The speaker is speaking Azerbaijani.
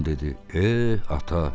Oğlan dedi: "Eh, ata.